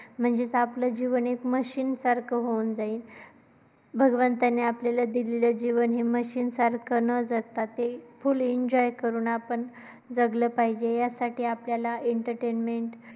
म्हणजेच आपलं जीवन एक machine सारखं होऊन जाईल. भगवंताने आपल्याला दिलेलं जीवन हे machine सारखं न जगता full enjoy करू आपण जगलं पाहिजे यासाठी आपल्याला entertainment ची